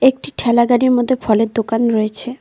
ঠেলাগাড়ির মধ্যে ফলের দোকান রয়েছে।